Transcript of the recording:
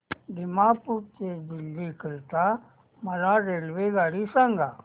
दिमापूर ते दिल्ली करीता मला रेल्वेगाडी सांगा